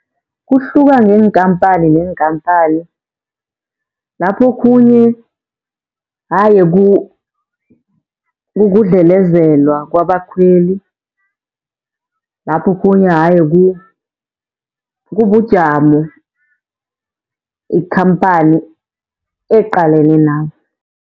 Kuhluka ngeenkhamphani neenkhamphani lapho okhunye haye kukudlelezelwa kwabakhweli. Lapho okhunye haye kubujamo ikhamphani eqalene nabo.